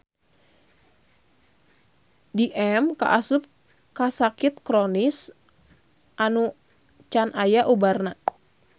DM kaasup kasakit kronis anu can aya ubarna.